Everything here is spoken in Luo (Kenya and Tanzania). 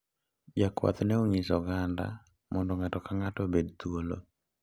Jakwath ne onyiso oganda mondo ng`ato kang`ato obed thuolo.